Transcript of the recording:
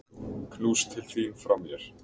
Knús til þín frá mér.